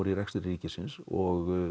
í rekstri ríkisins og